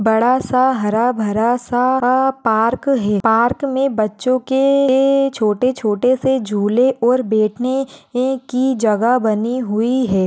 बड़ा सा हरा भरा पार्क है पार्क में बच्चों के लिए छोटे छोटे से झूले और बैठने की जगह बनी हुई है।